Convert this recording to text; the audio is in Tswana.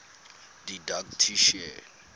didactician